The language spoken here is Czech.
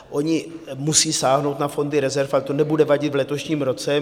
Oni musí sáhnout na fondy rezerv, ale to nebude vadit v letošním roce.